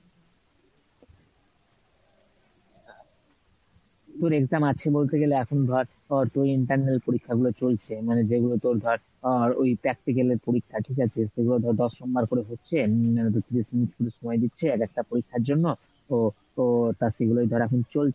তোর exam আছে বলতে গেলে এখন ধর তোর internal পরীক্ষা গুলো চলছে মানে যেগুলো তোর ধর আহ ওই practical এর পরীক্ষা ঠিক আছে? সেগুলো ধর দশ number করে হচ্ছে সময় দিচ্ছে এক একটা পরীক্ষার জন্য তো ও তা সেগুলোই ধর এখন চলছে